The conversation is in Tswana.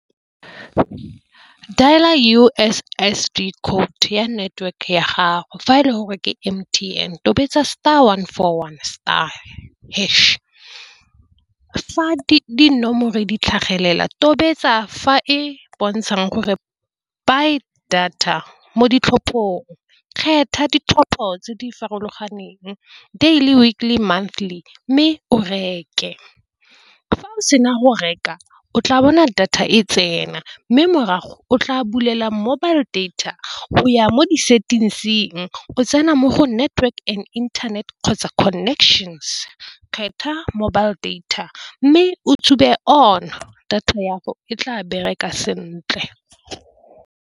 Dial-a U_S_S_D code ya network ya gago, fa e le gore ke M_T_N tobetsa star one for one star hash, fa dinomoro di tlhagelela tobetsa fa e bontshang gore buy data mo ditlhophong kgetha ditlhopho tse di farologaneng daily, weekly, monthly mme o reke. Fa o sena go reka o tla bona data e tsena mme morago o tla bulela mobile data o ya mo di-settings-ng o tsena mo go network and internet kgotsa connections kgetha mobile data mme o on data ya go e tla bereka sentle.